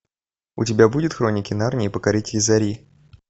у тебя будет хроники нарнии покоритель зари